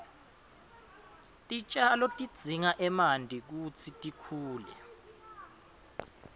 titjalo tidzinga emanti kutsi tikhule